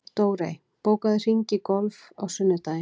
Dórey, bókaðu hring í golf á sunnudaginn.